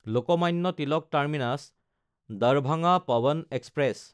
Lokmanya Tilak টাৰ্মিনাছ–দাৰভাঙা Pawan express